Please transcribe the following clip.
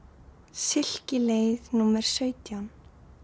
silkileið númer sautján